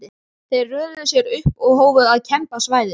Þeir röðuðu sér upp og hófu að kemba svæðið.